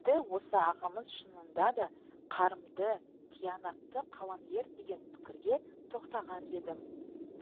енді осы ағамыз шынанда да қарымды тиянақты қаламгер деген пікірге тоқтаған едім